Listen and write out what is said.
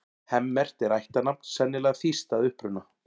Hemmert er ættarnafn, sennilega þýskt að uppruna.